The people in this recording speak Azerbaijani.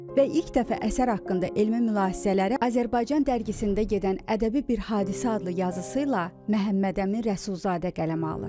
Və ilk dəfə əsər haqqında elmi mülahisələri Azərbaycan dərgisində gedən "Ədəbi bir hadisə" adlı yazısı ilə Məhəmməd Əmin Rəsulzadə qələmə alır.